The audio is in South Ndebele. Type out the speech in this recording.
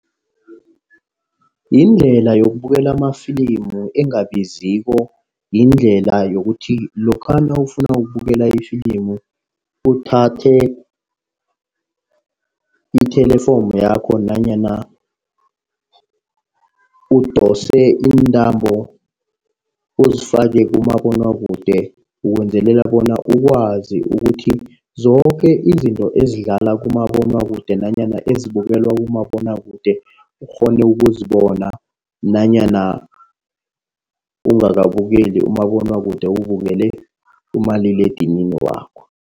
Yindlela yokubukela amafilimu engabiziko, yindlela yokuthi lokha nawufuna ukubukela ifilimu. Uthathe ithelefomu yakho nanyana udose iintambo uzifake kumabonwakude. Ukwenzelela bona ukwazi ukuthi zoke izinto ezidlala kumabonwakude nanyana ezibukelwa kumabonwakude ukghone ukuzibona nanyana ungakabukeli umabonwakude, ubukele umaliledinini wakho.